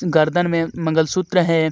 गर्दन में मंगल सूत्र है.